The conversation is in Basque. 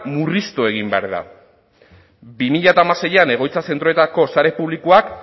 murriztu egin behar da bi mila hamaseian egoitza zentroetako sare publikoak